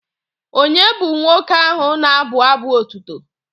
Ònye bụ nwoke ahụ na-abụ abụ otuto?